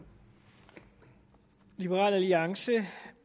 liberal alliance